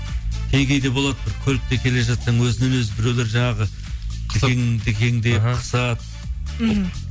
кей кейде болады бір көлікте келе жатсаң өзімен өзі біреулер жаңағы дікең дікеңдеп қысады мхм